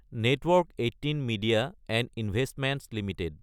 network ১৮ media & investments Ltd